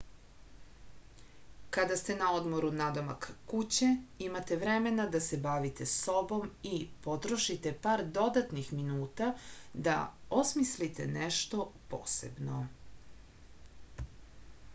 kada ste na odmoru nadomak kuće imate vremena da se bavite sobom i potrošite par dodatnih minuta da osmislite nešto posebno